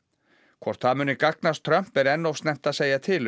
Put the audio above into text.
hvort það muni gagnast Trump er enn of snemmt að segja til um